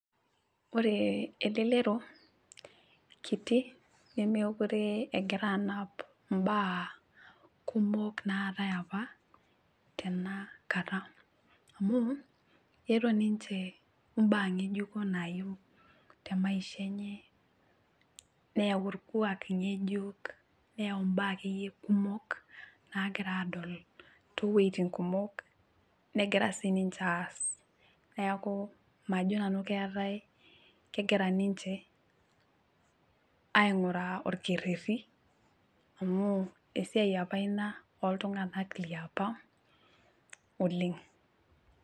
Ore elelero kiti nemekure engira anap imbaa kumok naatae apa tenakata amu etaa ninche mbaa ngejuko nayieu temaisha enye neyau orkwak ngejuk , neyau mbaa akeyie kumok nagira adol toetin kumok negira siniche aas , neeku majo nanu keetae , kegira ninche ainguraa orkereri amu esiai apa ina oltunganak liapa oleng.